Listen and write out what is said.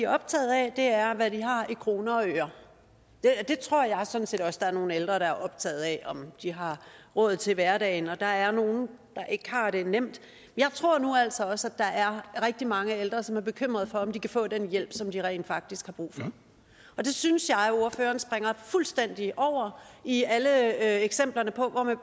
optaget af er hvad de har i kroner og øre det tror jeg sådan set også der er nogle ældre der har optaget af om de har råd til hverdagen der er nogle der ikke har det nemt jeg tror nu altså også at der er rigtig mange ældre som er bekymret for om de kan få den hjælp som de rent faktisk har brug for det synes jeg ordføreren springer fuldstændig over i alle eksemplerne på hvor man